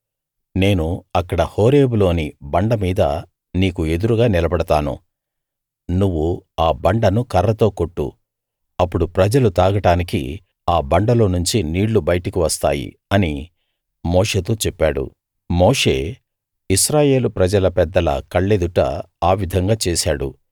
నేను అక్కడ హోరేబులోని బండ మీద నీకు ఎదురుగా నిలబడతాను నువ్వు ఆ బండను కర్రతో కొట్టు అప్పుడు ప్రజలు తాగడానికి ఆ బండలో నుంచి నీళ్లు బయటకు వస్తాయి అని మోషేతో చెప్పాడు మోషే ఇశ్రాయేలు ప్రజల పెద్దల కళ్ళెదుట ఆ విధంగా చేశాడు